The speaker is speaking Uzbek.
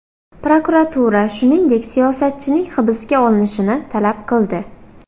Prokuratura, shuningdek, siyosatchining hibsga olinishini talab qildi.